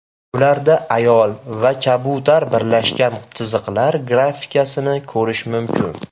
Ularda ayol va kabutar birlashgan chiziqlar grafikasini ko‘rish mumkin.